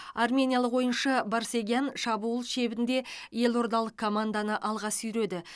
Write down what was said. армениялық ойыншы барсегян шабуыл шебінде елордалық команданы алға сүйреді